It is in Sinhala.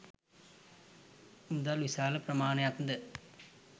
මුදල් විශාල ප්‍රමාණයක්ද